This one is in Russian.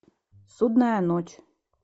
судная ночь